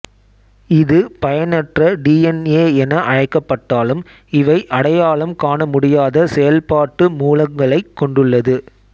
இது பயனற்ற D N A என அழைக்கப்பட்டாலும் இவை அடையாளம் காணமுடியாத செயல்பாட்டு மூலங்களைக் கொண்டுள்ளது